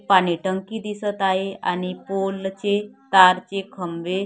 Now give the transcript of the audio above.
पाणी टंकी दिसतं आहे आणि पोल चे तारचे खंबे--